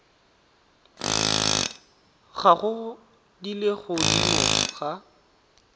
gago di le godimo ga